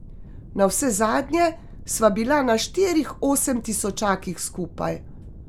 Navsezadnje sva bila na štirih osemtisočakih skupaj.